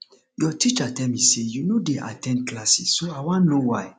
your teacher tell me say you no dey at ten d classes so i wan know why